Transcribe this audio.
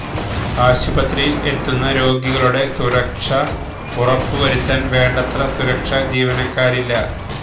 ആശുപത്രിയില് എത്തുന്ന രോഗികളുടെ സുരക്ഷ ഉറപ്പ് വരുത്താന് വേണ്ടത്ര സുരക്ഷ ജീവനക്കാരില്ല